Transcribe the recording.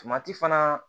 fana